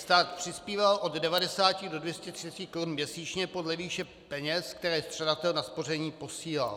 Stát přispíval od 90 do 230 korun měsíčně podle výše peněz, které střadatel na spoření posílal.